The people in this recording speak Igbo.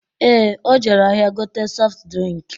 Ee, o jere ahịa gote sọft drịnk